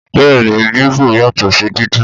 Bẹ́ẹ̀ni Bíbọ̀ yàtọ̀ sí dídín